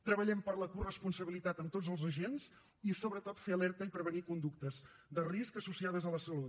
treballem per la coresponsabilitat amb tots els agents i sobretot fer alerta i prevenir conductes de risc associades a la salut